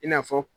I n'a fɔ